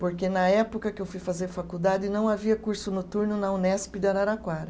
Porque na época que eu fui fazer faculdade, não havia curso noturno na Unesp de Araraquara.